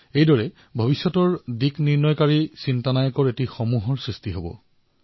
ইয়াৰ জৰিয়তে ভৱিষ্যতৰ দিশ নিৰ্ধাৰণ কৰা মননশীল নেতৃত্বৰ এটা শ্ৰেণীৰো সৃষ্টি হব